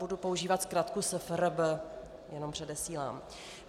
Budu používat zkratku SFRB, jenom předesílám.